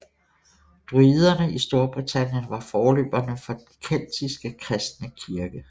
Druiderne i Storbritannien var forløberne for den keltiske kristne kirke